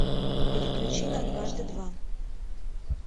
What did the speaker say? переключи на дважды два